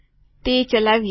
તે ચલાવીએ